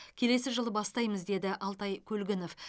келесі жылы бастаймыз деді алтай көлгінов